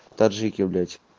таджики блять